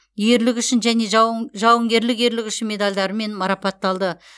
ерлігі үшін және жауынгерлік ерлігі үшін медальдарымен марапатталды